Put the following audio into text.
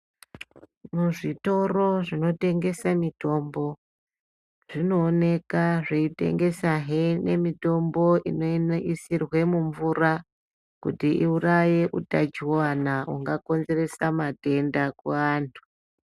Muzvitoro zvinotengese mitombo zvinooneka zveitengesehe mitombo neinoisirwa mumvura kuti iuraye utachiwana hungakonzeresa matenda kuantu.